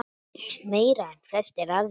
Meira en flestir aðrir.